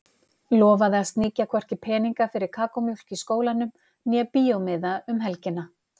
Lofaði að sníkja hvorki peninga fyrir kakómjólk í skólanum né bíómiða um helgina.